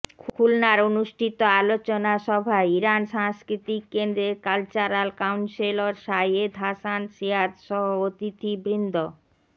খুলনার অনুষ্ঠিত আলোচনা সভায় ইরান সাংস্কৃতিক কেন্দ্রের কালচারাল কাউন্সেলর সাইয়্যেদ হাসান সেহাতসহ অতিথিবৃন্দ